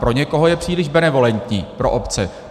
Pro někoho je příliš benevolentní pro obce.